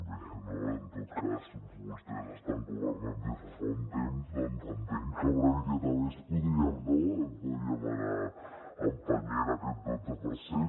bé també en tot cas vostès estan governant des de fa un temps entenc que una miqueta més podríem no podríem anar empenyent aquest dotze per cent